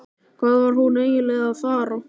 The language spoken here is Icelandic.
Hvað var hún eiginlega að fara?